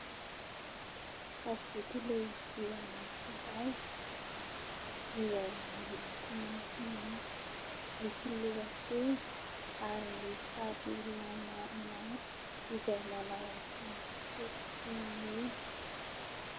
Gazety lehibe anankiray izay miloko maitsomaitso, misy lohateny ary misy sary olona maromaro izay manao akanjo fotsy sy mena.